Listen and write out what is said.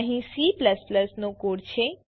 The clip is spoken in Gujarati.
અહીં C નો કોડ છે